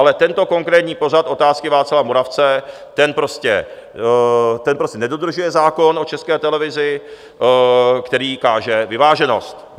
Ale tento konkrétní pořad Otázky Václava Moravce, ten prostě nedodržuje zákon o České televize, který káže vyváženost.